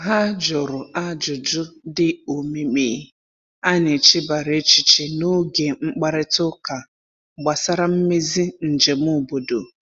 Ha jụrụ ajụjụ dị omimi a n'echebara echiche n’oge mkparịta ụka gbasara mmezi njem obodo.